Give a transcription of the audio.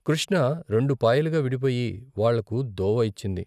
కృష్ణ రెండు పాయలుగా విడిపోయి వాళ్ళకు దోవ ఇచ్చింది.